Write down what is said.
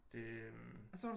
Det øh